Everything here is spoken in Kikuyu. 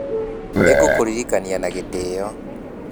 Nĩ ngũkũririkania na gĩtĩo